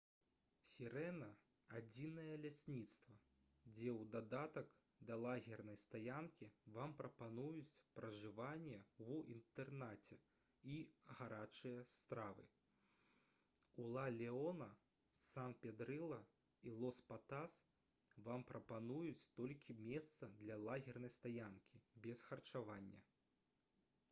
«сірэна» — адзінае лясніцтва дзе ў дадатак да лагернай стаянкі вам прапануюць пражыванне ў інтэрнаце і гарачыя стравы. у ла леона сан педрылла і лос патас вам прапануюць толькі месца для лагернай стаянкі без харчавання